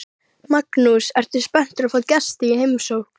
Magnús: Ertu spennt að fá gesti í heimsókn?